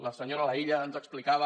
la senyora laïlla ens explicava